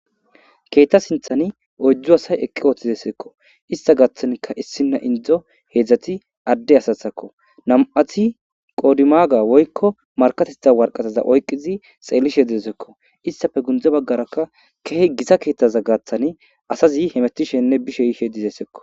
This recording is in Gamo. Keetta sinthani oydzu asay eqqi ooththi eseekko ista gaaththanika issina indzo heedzdzati adde asathakko nam7ati qodimaga woykko markatetha warqataza oyqizi xeellishe dizeseekko istafe gundze baggarakka kehe gisa keettaza gaaththani asazi hemetishenne bishe yishe dizeesekko.